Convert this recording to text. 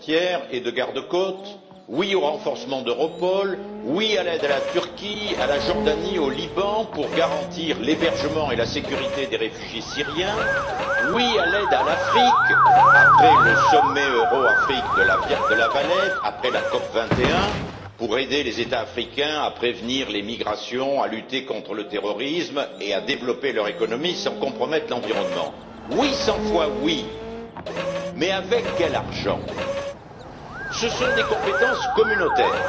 Monsieur le Président, oui au corps européen de gardes frontières et de gardes côtes, oui au renforcement d'Europol, oui à l'aide à la Turquie, à la Jordanie, au Liban pour garantir l'hébergement et la sécurité des réfugiés syriens, oui à l'aide à l'Afrique, après le sommet Europe Afrique de La Valette, après la COP21, pour aider les États africains à prévenir les migrations, à lutter contre le terrorisme et à développer leur économie sans compromette l'environnement. Oui, 100 fois oui. Mais avec quel argent? Ce sont des compétences communautaires,